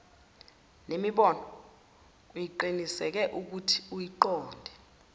nemibono uqiniseke ukuthiuyiqonda